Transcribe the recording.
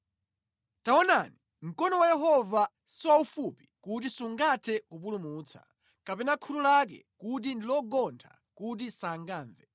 Taonani, mkono wa Yehova si waufupi kuti sungathe kupulumutsa, kapena khutu lake kuti ndilogontha kuti sangamve.